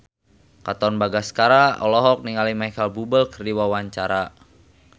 Katon Bagaskara olohok ningali Micheal Bubble keur diwawancara